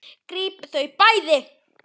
Grípið þau bæði!